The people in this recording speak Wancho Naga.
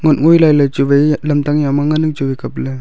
nak ngoi lai lai chu wai lamtang ya ma ngan ang chu wai kap ley.